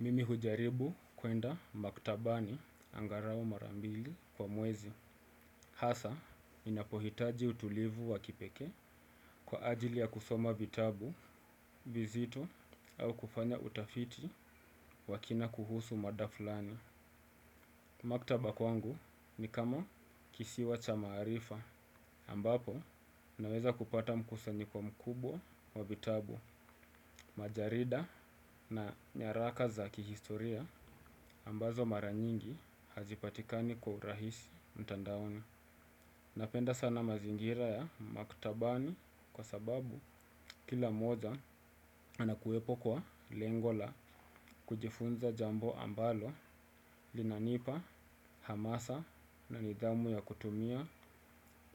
Mimi hujaribu kuenda maktabani angarau mara mbili kwa mwezi. Hasa, ninapohitaji utulivu wa kipekee kwa ajili ya kusoma vitabu, vizito au kufanya utafiti wa kina kuhusu mada fulani. Maktaba kwangu ni kama kisiwa cha maarifa ambapo naweza kupata mkusanyiko mkubwa wa vitabu. Majarida na nyaraka za kihistoria ambazo mara nyingi hazipatikani kwa urahisi mtandaoni. Napenda sana mazingira ya maktabani kwa sababu kila moja anakuwepo kwa lengo la kujifunza jambo ambalo linanipa hamasa na nidhamu ya kutumia